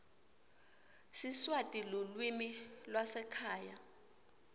siswati lulwimi lwasekhaya